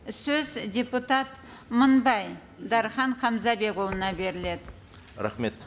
сөз депутат мыңбай дархан хамзабекұлына беріледі рахмет